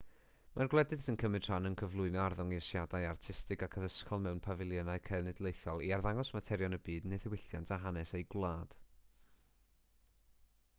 mae'r gwledydd sy'n cymryd rhan yn cyflwyno arddangosiadau artistig ac addysgol mewn pafiliynau cenedlaethol i arddangos materion y byd neu ddiwylliant a hanes eu gwlad